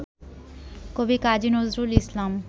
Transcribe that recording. কবি কাজী নজরুল ইসলাম